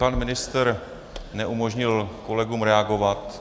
Pan ministr neumožnil kolegům reagovat.